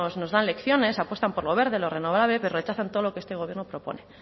nos dan lecciones apuestan por lo verde lo renovable pero rechazan todo lo que este gobierno propone